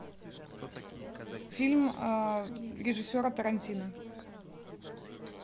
фильм режиссера тарантино